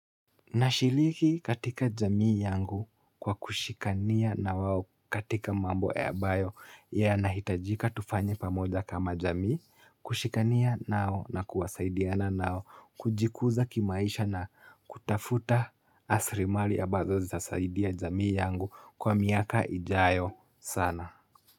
Nashiriki katika jamii yangu kwa kushikania na wao katika mambo ambayo yanahitajika tufanye pamoja kama jamii kushikania nao na kusaidiana nao kujikuza kimaisha na kutafuta asrimali ya ambazo zitasaidia jamii yangu kwa miaka ijayo sana.